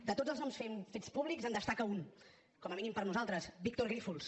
de tots els noms fets públics en destaca un com a mínim per a nosaltres víctor grífols